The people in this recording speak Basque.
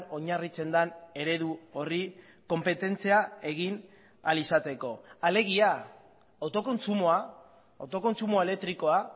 oinarritzen den eredu horri konpetentzia egin ahal izateko alegia autokontsumoa autokontsumo elektrikoa